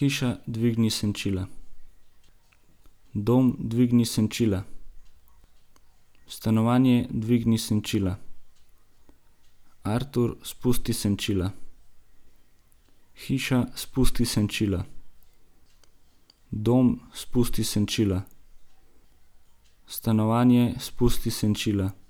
Hiša, dvigni senčila. Dom, dvigni senčila. Stanovanje, dvigni senčila. Artur, spusti senčila. Hiša, spusti senčila. Dom, spusti senčila. Stanovanje, spusti senčila.